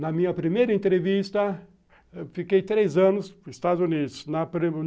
Na minha primeira entrevista, eu fiquei três anos nos Estados Unidos na